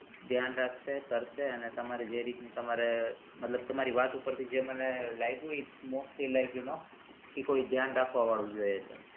ધ્યાન રાખશે કરશે અને તમારી જે રીત ની તમારે મતલબ તમારી વાત ઉપરથી જે મને લાય્ગુ ઇ કોઈ ધ્યાન રાખવા વાળું જોઈએ છે.